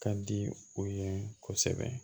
Ka di o ye kosɛbɛ